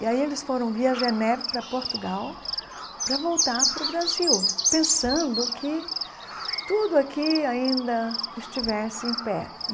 E aí eles foram via Geneve para Portugal para voltar para o Brasil, pensando que tudo aqui ainda estivesse em pé.